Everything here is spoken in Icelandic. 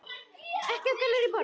Ekki af Gallerí Borg.